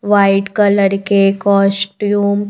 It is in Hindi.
वाइट कलर के कॉस्ट्यूम --